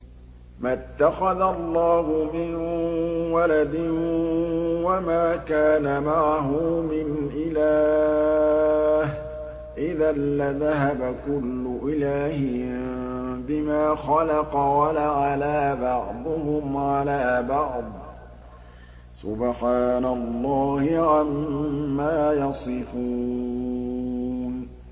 مَا اتَّخَذَ اللَّهُ مِن وَلَدٍ وَمَا كَانَ مَعَهُ مِنْ إِلَٰهٍ ۚ إِذًا لَّذَهَبَ كُلُّ إِلَٰهٍ بِمَا خَلَقَ وَلَعَلَا بَعْضُهُمْ عَلَىٰ بَعْضٍ ۚ سُبْحَانَ اللَّهِ عَمَّا يَصِفُونَ